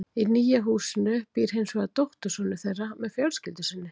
Í nýja húsinu býr hins vegar dóttursonur þeirra með fjölskyldu sinni.